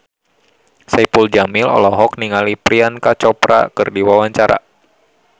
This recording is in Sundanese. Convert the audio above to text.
Saipul Jamil olohok ningali Priyanka Chopra keur diwawancara